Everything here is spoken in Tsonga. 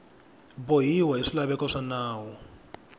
bohiwa hi swilaveko swa nawu